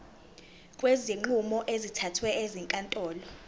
kwezinqumo ezithathwe ezinkantolo